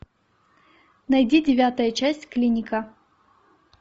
найди девятая часть клиника